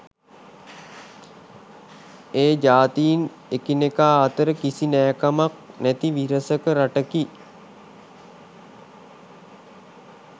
ඒ ජාතීන් එකිනෙකා අතර කිසි නෑකමක් නැති විරසක රටකි